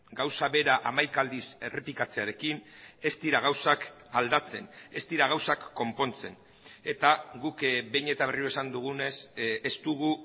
gauza bera hamaika aldiz errepikatzearekin ez dira gauzak aldatzen ez dira gauzak konpontzen eta guk behin eta berriro esan dugunez ez dugu